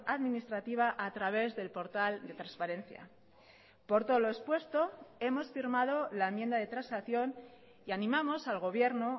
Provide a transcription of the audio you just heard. administrativa a través del portal de transparencia por todo lo expuesto hemos firmado la enmienda de transacción y animamos al gobierno